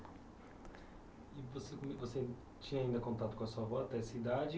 Você você tinha ainda contato com a sua avó até essa idade?